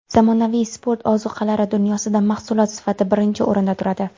Zamonaviy sport ozuqalari dunyosida mahsulot sifati birinchi o‘rinda turadi.